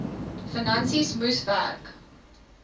finansies moes werk